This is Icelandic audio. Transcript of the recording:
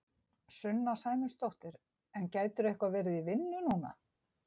Sunna Sæmundsdóttir: En gætirðu eitthvað verið í vinnu núna?